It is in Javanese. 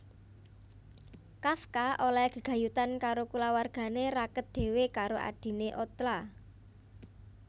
Kafka olèhé gegayutan karo kulawargané raket dhéwé karo adhiné Ottla